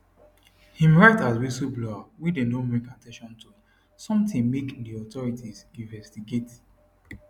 im write as whistleblower wey don dey bring at ten tion to sometin make di authorities investigate